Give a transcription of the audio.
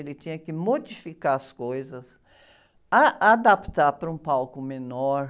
Ele tinha que modificar as coisas, ah, adaptar para um palco menor,